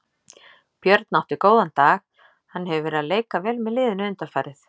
Björn átti góðan dag, hann hefur verið að leika vel með liðinu undanfarið.